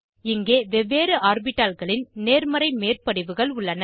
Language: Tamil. இங்கே வெவ்வேறு ஆர்பிட்டால்களின் நேர்மறை மேற்படிவுகள் உள்ளன